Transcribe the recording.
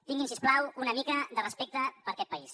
tinguin si us plau una mica de respecte per aquest país